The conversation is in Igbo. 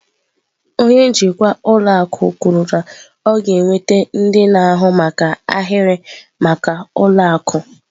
Onye njikwa ụlọ akụ kwuru na ọ ga-enweta ndị na-ahụ maka ahịrị maka ụlọ akụ.